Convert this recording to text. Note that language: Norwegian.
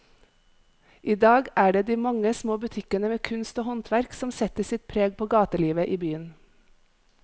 I dag er det de mange små butikkene med kunst og håndverk som setter sitt preg på gatelivet i byen.